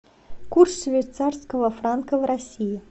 курс швейцарского франка в россии